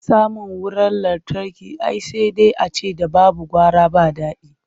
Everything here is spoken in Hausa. Samun wurar lantarki ai sai dai a ce ‘da babu gara ba dadi.